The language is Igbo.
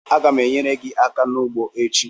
Agam enyere gi aka n'ugbo echi